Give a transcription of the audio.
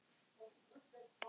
Svona leit pakkinn út.